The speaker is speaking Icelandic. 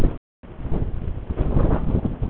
Sigmundur: Hvað vill Samfylkingin?